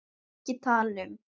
EKKI TALA UM